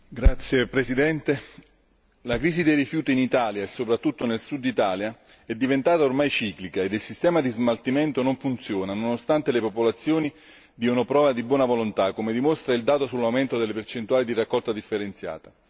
Signor Presidente, onorevoli colleghi, la crisi dei rifiuti in Italia, e soprattutto nel Sud Italia, è diventata ormai ciclica ed il sistema di smaltimento non funziona, nonostante le popolazioni diano prova di buona volontà, come dimostra il dato sull'aumento delle percentuali di raccolta differenziata.